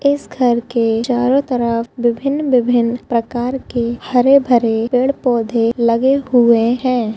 इस घर के चारों तरफ विभिन्न-विभिन्न प्रकार के हरे -भरे पौधे लगे हुए हैं।